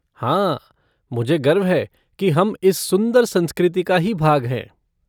हाँ, मुझे गर्व है की हम इस सुंदर संस्कृति का ही भाग हैं।